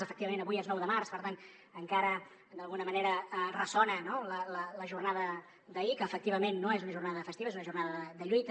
efectivament avui és nou de març per tant encara d’alguna manera ressona no la jornada d’ahir que efectivament no és una jornada festiva és una jornada de lluita